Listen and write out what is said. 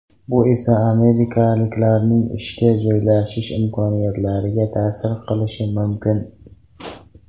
Bu esa amerikaliklarning ishga joylashish imkoniyatlariga ta’sir qilishi mumkin.